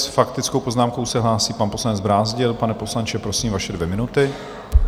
S faktickou poznámkou se hlásí pan poslanec Brázdil. Pane poslanče, prosím, vaše dvě minuty.